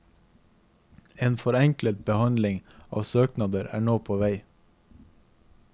En forenklet behandling av søknader er nå på vei.